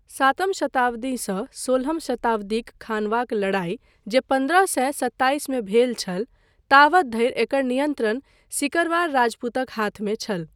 सातम शताब्दीसँ सोलहम शताब्दीक खानवाक लड़ाई जे पन्द्रह सए सत्ताइस मे भेल छल, तावत धरि एकर नियन्त्रण सिकरवार राजपूतक हाथमे छल।